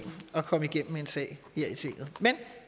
at komme igennem med en sag her i tinget men